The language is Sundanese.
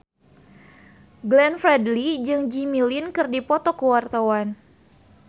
Glenn Fredly jeung Jimmy Lin keur dipoto ku wartawan